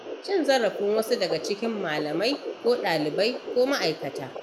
Cin zarafin wasu daga cikin malamai ko ɗalibai ko ma'aikata.